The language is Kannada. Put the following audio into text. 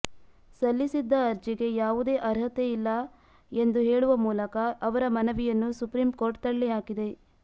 ಸಲ್ಲಿಸಿದ್ದ ಅರ್ಜಿಗೆ ಯಾವುದೇ ಅರ್ಹತೆಯಿಲ್ಲ ಎಂದು ಹೇಳುವ ಮೂಲಕ ಅವರ ಮನವಿಯನ್ನು ಸುಪ್ರೀಂ ಕೋರ್ಟ್ ತಳ್ಳಿಹಾಕಿದೆ